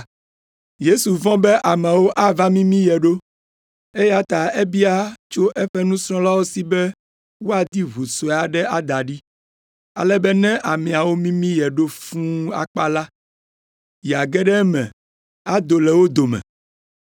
Yesu vɔ̃ be ameawo ava mimi ye ɖo, eya ta ebia tso eƒe nusrɔ̃lawo si be woadi ʋu sue aɖe ada ɖi, ale be ne ameawo mimi ye ɖo fũu akpa la, yeage ɖe eme ado le wo dome,